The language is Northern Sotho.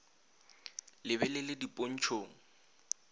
le be le le dipontšhong